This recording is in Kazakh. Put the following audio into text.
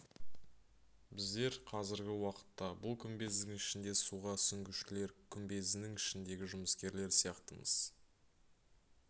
біздер қазіргі уақытта бұл күмбездің ішінде суға сүңгушілер күмбезінің ішіндегі жұмыскерлер сияқтымыз